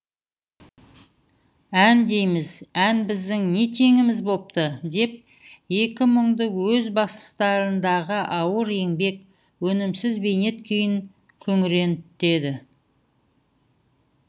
ән дейміз ән біздің не теңіміз бопты деп екі мұңды өз бастарындағы ауыр еңбек өнімсіз бейнет күйін күңірентеді